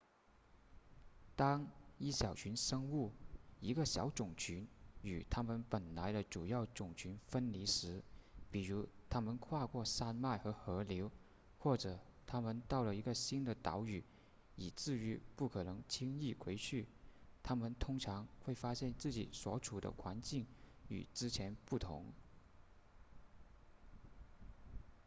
当一小群生物一个小种群与它们本来的主要种群分离时比如它们跨过山脉和河流或者它们到了一个新的岛屿以至于不可能轻易回去它们通常会发现自己所处的环境与之前不同